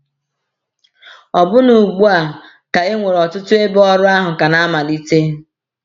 Ọbụna ugbu a, ka e nwere ọtụtụ ebe ọrụ ahụ ka na-amalite.